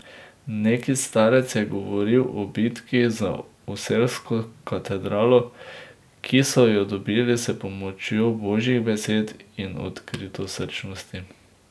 Neki starec je govoril o bitki za oselsko katedralo, ki so jo dobili s pomočjo božjih besed in odkritosrčnosti.